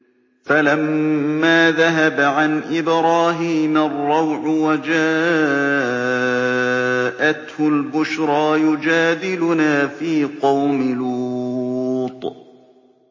فَلَمَّا ذَهَبَ عَنْ إِبْرَاهِيمَ الرَّوْعُ وَجَاءَتْهُ الْبُشْرَىٰ يُجَادِلُنَا فِي قَوْمِ لُوطٍ